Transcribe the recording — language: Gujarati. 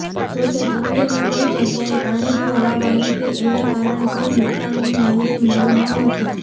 જોકે ચીખલીમાં કોઇ જગ્યાએ પાણી ભરાવાની કે એના કારણે કોઇ નુકસાનની માહિતી મળી ન હતી